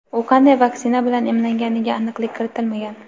U qanday vaksina bilan emlanganiga aniqlik kiritmagan.